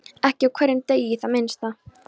Ekki á hverjum degi í það minnsta.